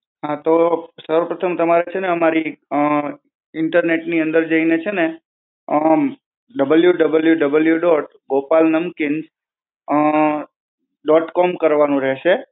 હા. તો સર્વ પ્રથમ તમારે છે ને અમારી અ internet ની અંદર જઈને છે ને આમ WWW dot Gopal Namkeen dot com કરવાનું રહેશે.